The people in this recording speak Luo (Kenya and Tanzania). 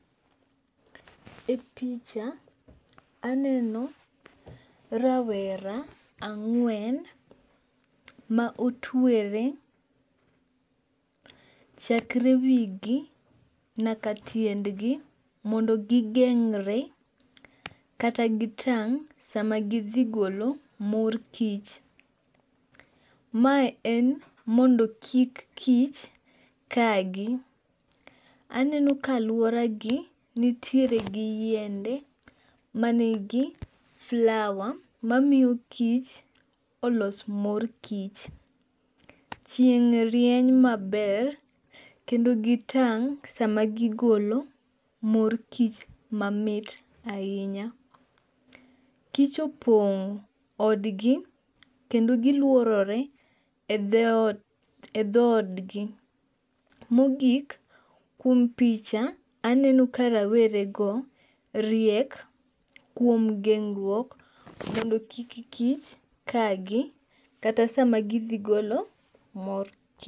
E picha aneno rawera ang'wen ma otwere chakre wigi nyaka tiendgi mondo gigeng're kata kitang' sama gidhi golo mor kich. Mae en mondo kik kich ka gi. Aneno ka aluora gi nitiere gi yiende manigi flower mamiyo kich olos mor kich. Chieng' rieny maber kendo gitang' sama gigolo mor kich mamit ahinya. Kich opong' odgi kendo giluorore e dho od gi. Mogik, kuom picha aneno ka rawere go riek kuom geng'ruok mondo kik kich ka gi kata sama gidhi golo mor kich.